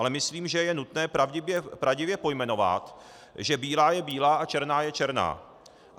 Ale myslím, že je nutné pravdivě pojmenovat, že bílá je bílá a černá je černá.